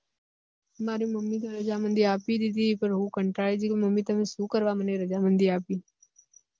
મારી mummy તો રજામંદી આપી ધીધી પણ હું કંટાળી ગઈ કે mummy તમે શું કરવા મને રજામંદી આપી